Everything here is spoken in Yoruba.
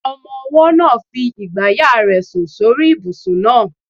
Ọmọ-ọwọ́ náà ń fi igbàyà rẹ̀ sùn sórí ibùsùn náà